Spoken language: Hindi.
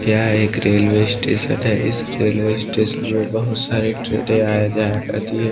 यह एक रेलवे स्टेशन है इस रेलवे स्टेशन में बहुत सारी ट्रेने आया जाया करती है।